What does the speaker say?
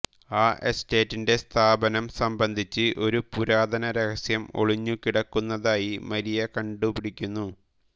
ആ എസ്റ്റേറ്റിന്റെ സ്ഥാപനം സംബന്ധിച്ച് ഒരു പുരാതന രഹസ്യം ഒളിഞ്ഞുകിടക്കുന്നതായി മരിയ കണ്ടുപിടിക്കുന്നു